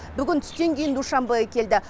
бүгін түстен кейін душанбеге келді